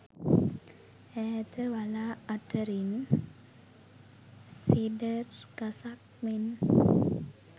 ඈත වළා අතරින් සීඩර් ගසක් මෙන්